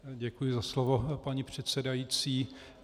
Děkuji za slovo, paní předsedající.